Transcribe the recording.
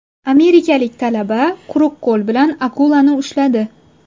Amerikalik talaba quruq qo‘l bilan akulani ushladi .